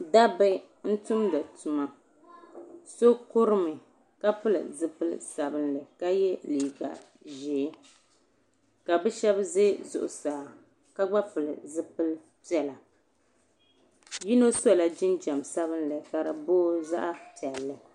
Dabba n tumdi tuma so kurimi ka pili zipili sabinli ka ye liiga ʒee ka bɛ Sheba ʒe zuɣusaa ka gba pili zipili piɛla yino sola jinjiɛm sabinli ka di boogi zaɣa piɛlli.